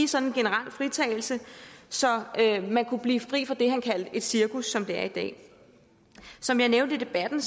sådan generel fritagelse så man kunne blive fri for det han kaldte et cirkus som det er i dag som jeg nævnte i debatten